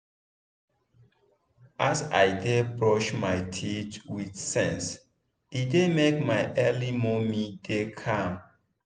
as i dey brush my teeth with sense e dey make my early momo dey calm.